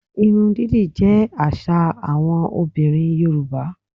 Irun dídì jẹ́ àṣà àwọn obìnrin Yorùbá